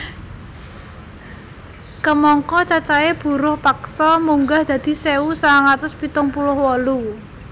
Kamangka cacahé buruh paksa munggah dadi sewu sangang atus pitung puluh wolu